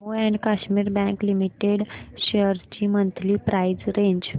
Jammu and Kashmir bank limited shares ची monthly price range